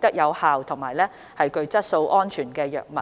得有效、有質素及安全的藥物。